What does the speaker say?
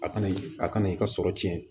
A kana a kana i ka sɔrɔ cɛn